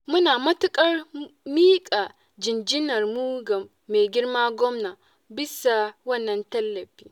Muna matuƙar miƙa jinjinarmu ga maigirma gwamna bisa wannan tallafi.